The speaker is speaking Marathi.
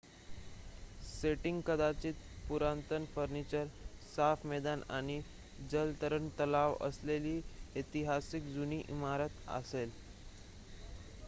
सेटिंग कदाचित पुरातन फर्निचर साफ मैदान आणि जलतरण तलाव असलेली ऐतिहासिक जुनी इमारत असेल